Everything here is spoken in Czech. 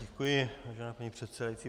Děkuji, vážená paní předsedající.